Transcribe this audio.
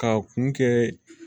K'a kun kɛ